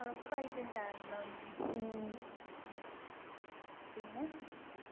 ഉറപ്പായിട്ടും കാണണം ഉം പിന്നെ